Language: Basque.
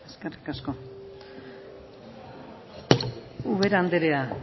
eskerrik asko ubera andrea